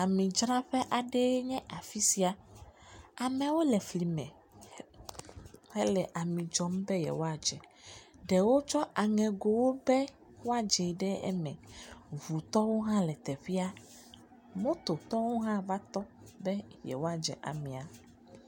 Amidzraƒe aɖe enye afisia, ameawo le fli me hele ami dzɔm be yewoadze, ɖewo tsɔ aŋegowo be yewoadze ɖe eme, ʋutɔwo hã le teƒea. Mototɔwo hã va tɔ be yewoadze amia.